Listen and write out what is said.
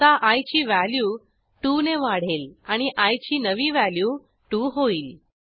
आता आय ची व्हॅल्यू 2 ने वाढेल आणि आय ची नवी व्हॅल्यू 2 होईल